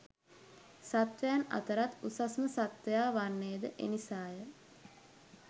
සත්වයින් අතරත් උසස්ම සත්වයා වන්නේ ද එනිසාය.